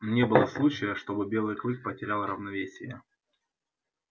не было случая чтобы белый клык потерял равновесие